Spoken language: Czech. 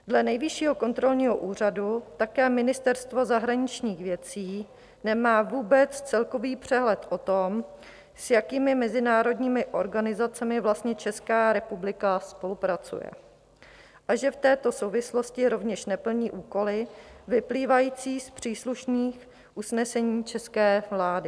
Dle Nejvyššího kontrolního úřadu také Ministerstvo zahraničních věcí nemá vůbec celkový přehled o tom, s jakými mezinárodními organizacemi vlastně Česká republika spolupracuje, a že v této souvislosti rovněž neplní úkoly vyplývající z příslušných usnesení české vlády.